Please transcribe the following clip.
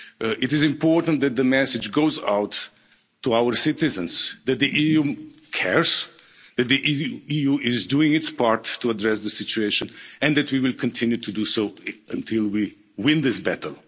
It is important that the message goes out to our citizens that the EU cares, that the EU is doing its part to address the situation, and that we will continue to do so until we win this battle.